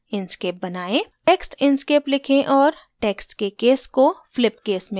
text inkscape लिखें और text के case को flip case में बदलें